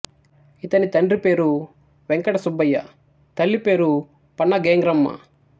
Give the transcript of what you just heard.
ఇతని తండ్రి పేరు వెంకట సుబ్బయ్య తల్లి పేరు పన్నగేంగ్రమ్మ